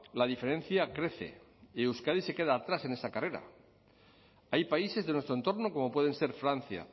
la diferencia crece y euskadi se queda atrás en esa carrera hay países de nuestro entorno como pueden ser francia